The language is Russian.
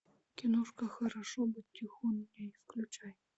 киношка хорошо быть тихоней включай